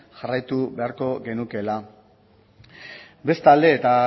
jarraitu beharko genukeela bestalde eta